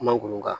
Kuma kun kan